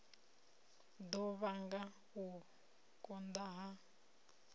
ḓo vhanga u konḓa ha